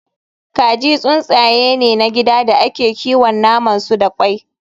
Kaji tsuntsaye ne na gida da ake kiwon naman su da kwai